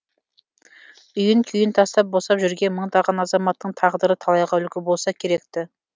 үйін күйін тастап босап жүрген мыңдаған азаматтың тағдыры талайға үлгі болса керекті